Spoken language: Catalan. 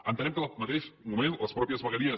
entenem que al mateix moment les mateixes vegueries